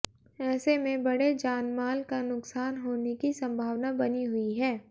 ऐसे में बड़े जानमाल का नुकसान होने की संभावना बनी हुई है